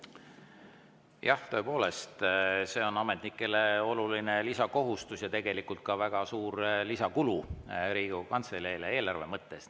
Jah, tõepoolest, see on ametnikele oluline lisakohustus ja tegelikult ka väga suur lisakulu Riigikogu Kantseleile eelarve mõttes.